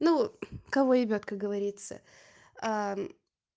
ну кого ебёт как говорится